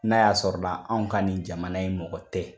N'a y'a sɔrɔ la anw ka nin jamana in mɔgɔ tɛ.